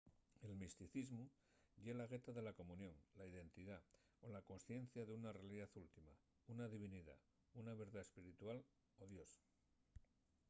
el misticismu ye la gueta de la comunión la identidá o la consciencia d’una realidá última una divinidá una verdá espiritual o dios